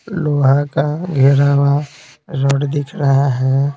लोहा का घेरा हुआ रोड दिख रहा है।